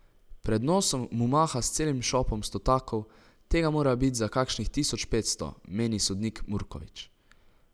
Pred nosom mu maha s celim šopom stotakov, tega mora bit za kakšnih tisoč petsto, meni sodnik Murkovič.